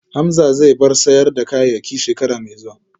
Hamza zai bar sayar da kayayyaki shekara mai zuwa